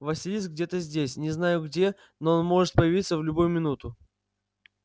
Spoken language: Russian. василиск где-то здесь не знаю где но он может появиться в любую минуту